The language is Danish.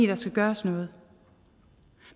der skal gøres noget